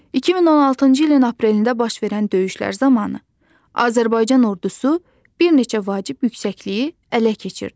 2016-cı ilin aprelində baş verən döyüşlər zamanı Azərbaycan ordusu bir neçə vacib yüksəkliyi ələ keçirdi.